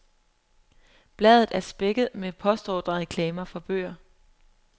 Bladet er spækket med postordrereklamer for bøger.